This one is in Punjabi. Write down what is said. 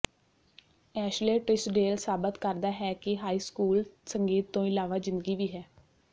ਐਸ਼ਲੇ ਟਿਸ੍ਡੇਲ ਸਾਬਤ ਕਰਦਾ ਹੈ ਕਿ ਹਾਈ ਸਕੂਲ ਸੰਗੀਤ ਤੋਂ ਇਲਾਵਾ ਜ਼ਿੰਦਗੀ ਵੀ ਹੈ